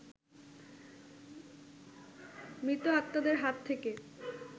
মৃত আত্মাদের হাত থেকে